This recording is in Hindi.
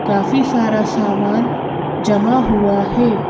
काफी सारा सामान जमा हुआ है।